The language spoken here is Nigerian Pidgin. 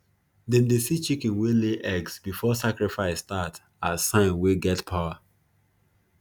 them dey see chicken wey lay eggs before sacrifice start as sign wey get power